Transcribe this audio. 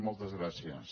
moltes gràcies